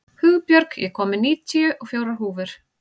Hugbjörg, ég kom með níutíu og fjórar húfur!